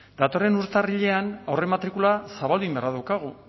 datorren urtarrilean aurrematrikula zabalik egin beharra daukagu